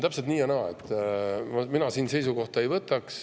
Täpselt, see on nii ja naa, mina siin seisukohta ei võta.